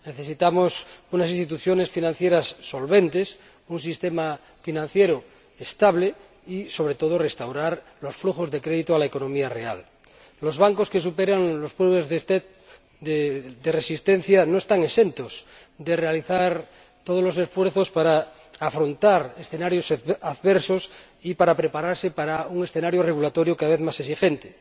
Necesitamos unas instituciones financieras solventes, un sistema financiero estable y, sobre todo, restaurar los flujos de crédito a la economía real. Los bancos que superen las pruebas de resistencia no están exentos de realizar todos los esfuerzos para afrontar escenarios adversos y para prepararse para un escenario regulatorio cada vez más exigente.